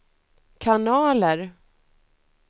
kanaler